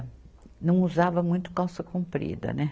Não usava muito calça comprida, né?